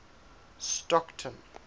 stockton